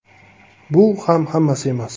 Bu ham hammasi emas.